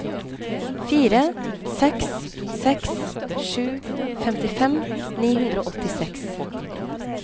fire seks seks sju femtifem ni hundre og åttiseks